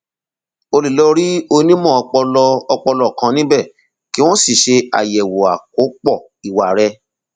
o lè lọ rí onímọ ọpọlọ ọpọlọ kan níbẹ kí wọn sì ṣe àyẹwò àkópọ ìwà rẹ